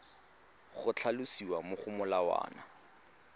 go tlhalosiwa mo go molawana